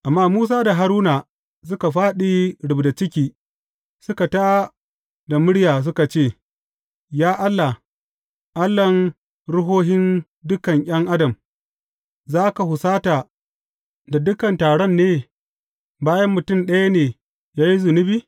Amma Musa da Haruna suka fāɗi rubda ciki suka tā da murya suka ce, Ya Allah, Allahn ruhohin dukan ’yan adam, za ka husata da dukan taron ne, bayan mutum ɗaya ne ya yi zunubi?